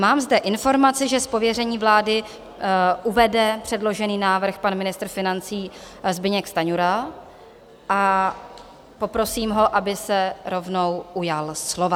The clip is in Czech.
Mám zde informaci, že z pověření vlády uvede předložený návrh pan ministr financí Zbyněk Stanjura, a poprosím ho, aby se rovnou ujal slova.